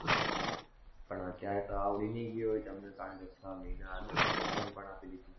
પણ અત્યારે તો આવડી નહિ ગયું હોય તમને, કારણ કે છ મહિના આગળ, તમે exam પણ આપી દીધી.